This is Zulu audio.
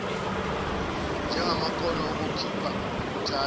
njengamakhono okuphila ukuthahta